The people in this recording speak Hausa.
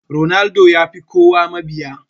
Ronaldo yafi kowa mabiya.